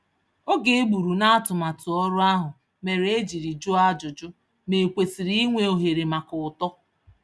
Oge egburu na atụmatụ ọrụ ahụ mèrè e jírí jụọ ajụjụ, ma e kwesịrị inwe ohere maka uto